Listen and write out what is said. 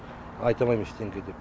айта алмаймын ештеңке деп